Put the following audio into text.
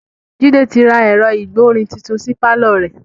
Jide ti ra ẹ̀rọ ìgbọ̀rin titun sí pàlọ́ rẹ̀